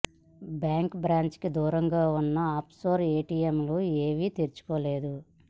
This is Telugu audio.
బ్యాంకు బ్రాంచికి దూరంగా ఉన్న ఆఫ్ షోర్ ఏటీఎంలు ఏవీ తెరుచుకోలేదు